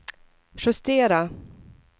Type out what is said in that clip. justera